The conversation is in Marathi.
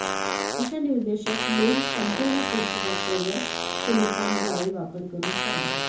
अशा निर्देशक लेन्स संपूर्ण पृष्ठभाग कव्हर सिलिकॉन जाळी वापर करून साध्य